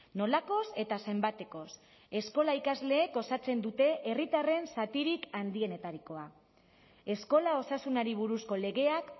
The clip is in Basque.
nolakoz eta zenbatekoz eskola ikasleek osatzen dute herritarren zatirik handienetarikoa eskola osasunari buruzko legeak